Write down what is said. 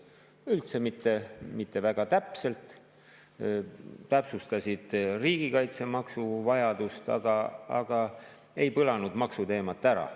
väga täpselt, täpsustasid riigikaitsemaksu vajadust, aga ei põlanud maksuteemat ära.